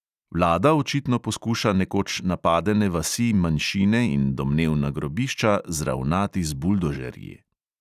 Vlada očitno poskuša nekoč napadene vasi manjšine in domnevna grobišča zravnati z buldožerji.